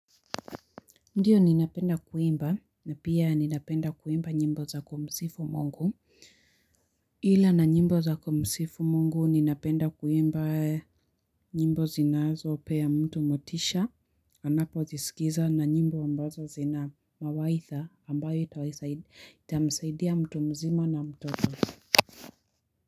Ndiyo ninapenda kuimba na pia ninapenda kuimba nyimbo za kumsifu mungu. Ila na nyimbo za kumsifu mungu ninapenda kuimba nyimbo zinazo peya mtu motisha. Anapo zisikiza na nyimbo ambazo zina mawaidha ambayo itamsaidia mtu mzima na mtoto.